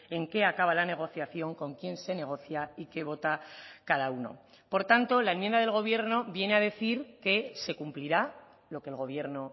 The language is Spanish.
en qué acaba la negociación con quién se negocia y qué vota cada uno por tanto la enmienda del gobierno viene a decir que se cumplirá lo que el gobierno